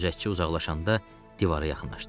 Gözətçi uzaqlaşanda divara yaxınlaşdılar.